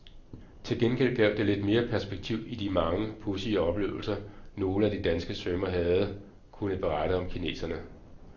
Til gengæld gav det lidt mere perspektiv i de mange, pudsige oplevelser nogle af de danske svømmere havde kunnet berette om kineserne.